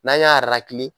N'an y'a